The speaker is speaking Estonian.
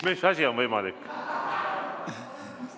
Mis asi on võimalik?